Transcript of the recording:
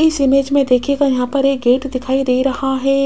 इस इमेज में दिखेगा यहां पर एक गेट दिखाई दे रहा है